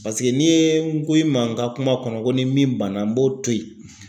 n'i ye n ko i ma n ka kuma kɔnɔ ko ni min banna n b'o to yen